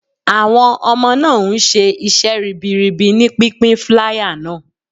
Awon ọmọ náà ń ṣe iṣẹ́ ribiribi ní pínpín flier náà.